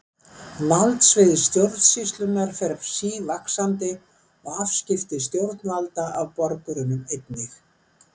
Valdsvið stjórnsýslunnar fer sívaxandi og afskipti stjórnvalda af borgurunum einnig.